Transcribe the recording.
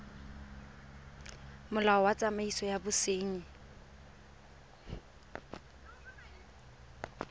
molao wa tsamaiso ya bosenyi